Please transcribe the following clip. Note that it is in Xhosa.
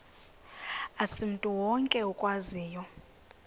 asimntu wonke okwaziyo